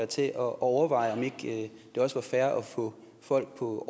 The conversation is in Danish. til at overveje om ikke det også er fair at få folk på